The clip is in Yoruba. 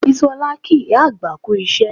Bisola kí ìyá àgbà kú iṣẹ́